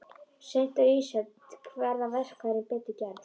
Seint á ísöld verða verkfærin betur gerð.